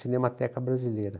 Cinemateca brasileira.